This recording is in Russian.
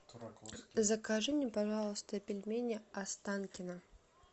закажи мне пожалуйста пельмени останкино